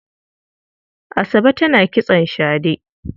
Asabe tana kitson shade.